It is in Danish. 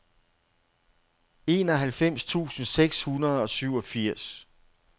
enoghalvfems tusind seks hundrede og syvogfirs